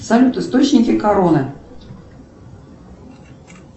салют источники короны